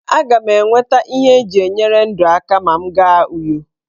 Aga m enweta ihe eji enyere ndụ aka ma m gaa Uyo.